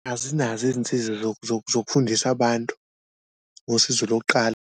Azinazo izinsiza zokufundisa abantu ngosizo lokuqala.